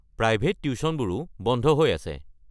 Private টিউশ্যনবোৰো বন্ধ হৈ আছে।